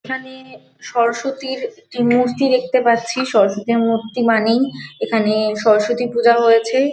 এখানে-এ সরস্বতীর মূর্তি দেখতে পাচ্ছি সরস্বতীর মূর্তি মানেই এখানে সরস্বতী পূজা হয়েছে।